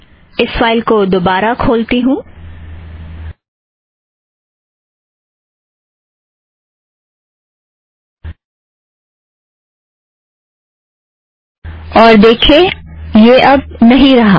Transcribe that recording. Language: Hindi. इस फ़ाइल को दोबारा खोलती हूँ और देखिए यह अब नहीं रहा